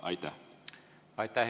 Aitäh, hea kolleeg!